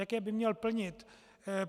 Jaké by měl plnit.